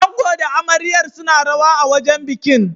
Ango da amaryar suna rawa a wajen bikin.